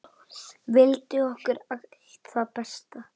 Vildi okkur allt það besta.